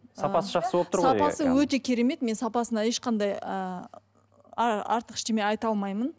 сапасы жақсы болып тұр ғой сапасы өте керемет мен сапасына ешқандай ыыы артық ештеме айта алмаймын